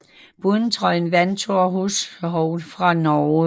Pointtrøjen vandt Thor Hushovd fra Norge